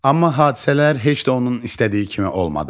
Amma hadisələr heç də onun istədiyi kimi olmadı.